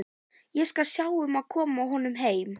Ég skal sjá um að koma honum heim.